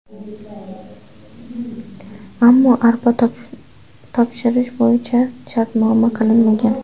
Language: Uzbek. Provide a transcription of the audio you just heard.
Ammo arpa topshirish bo‘yicha shartnoma qilinmagan.